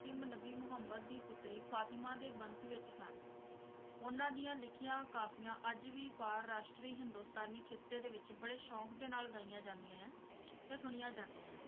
ਅੰਤਿਮ ਨਬੀ ਮੁਹਮੰਦ ਦੀ ਪੁੱਤਰੀ ਫਾਤਿਮਾ ਦੇ ਵੰਸ਼ ਵਿੱਚ ਸਨ, ਉਹਨਾਂ ਦੀਆਂ ਲਿਖੀਆਂ ਕਾਫ਼ੀਆਂ ਅੱਜ ਵੀ ਫਾਰ ਰਾਸ਼ਟਰੀ ਹਿੰਦੁਸਤਾਨੀ ਖਿੱਤੇ ਦੇ ਵਿੱਚ ਬੜੇ ਸ਼ੋਂਕ ਦੇ ਨਾਲ ਗਾਈਆਂ ਜਾਂਦੀਆਂ ਆ ਤੇ ਸੁਣੀਆਂ ਜਾਂਦੀਆਂ ਆ।